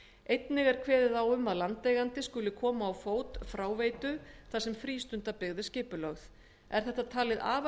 einnig er kveðið á um að landeigandi skuli koma á fót fráveitu þar sem frístundabyggð er skipulögð er þetta talið afar